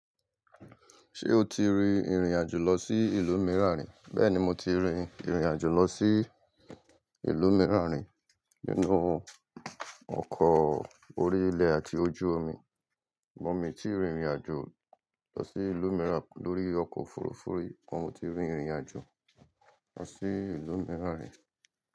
Ṣé o ti rin ìrìn-àjò lọ sí ìlú mìíràn rí? Bẹ́ẹ̀ni, mo ti rin ìrìn-àjò lọ sí ìlú mìíràn rí nínú ọkọ̀ orí ilẹ̀ àti ojú omi. Mí tí ìrìn-àjò lọ sí ìlú mìíràn lórí ọkọ̀ òfurufú rí. Ṣùgbọ́n mo ti rin ìrìn-àjò lọ sí ìlú mìíràn rí.